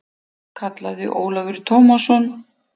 kallaði Ólafur Tómasson.